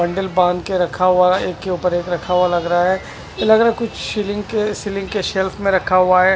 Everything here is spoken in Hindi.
हँडल बांध के रखा हुआ है एक के ऊपर एक रखा हुआ लग रहा है ये लग रहा है कुछ रिंग के सीलिंग के शेल्फ मे रखा हुआ है।